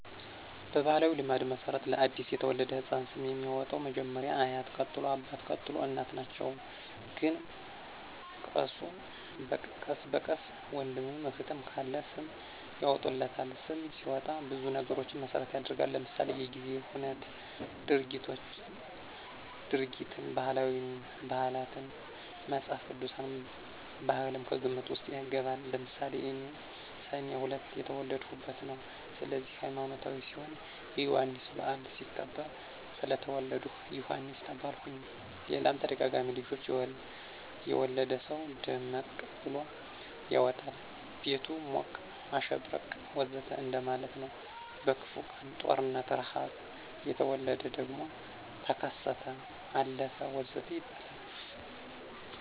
በባሕላዊ ልማድ መሠረት ለ አዲስ የተወለደ ሕፃን ስም የሚያወጣዉ መጀመሪያ አያት ቀጥሎ አባት፣ ቀጥሎ እናት ናቸው ግን ቀስ በቀስ ወንድምም እህትም ካለ ስም ያወጡለታል። ስም ሲወጣ ብዙ ነገሮችን መሰረት ይደረጋል ለምሳሌ:-የጊዜን ሁነት፣ ድርጊትን፣ ባህላትን፣ መፅሐፍ ቅዱስን፣ ባህልም ከግምት ውስጥ ይገባል። ለምሳሌ እኔ ሰኔ 2 የተወለድሁበት ነው ስለዚህ ሀይማኖታዊ ሲሆን የዮሐንስ በዓል ሲከበር ስለተወለድሁ ዮሐንስ ተባልሁኝ ሌላም ተደጋጋሚ ልጆች የወለደ ሰው ደመቀ ብሎ ያወጣል ቤቱ ሞቀ፣ አሸበረቀ ወዘተ እንደማለት ነው። በክፉ ቀን(ጦርነት፣ ርሐብ) የተወለደ ደግሞ ተከሰተ፣ አለፈ ወዘተ ይባላል